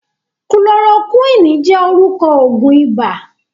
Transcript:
Kulorokúwìnì jẹ́ orúkọ Ògùn iba